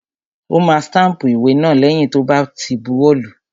Ó ma stámpù ìwé náà lẹ́yìn tó bá ti buwọ́ lùú.